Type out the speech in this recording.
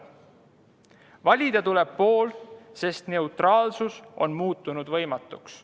Valida tuleb pool, sest neutraalsus on muutunud võimatuks.